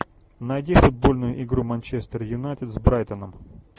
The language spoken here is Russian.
найди футбольную игру манчестер юнайтед с брайтоном